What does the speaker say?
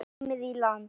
Komin í land.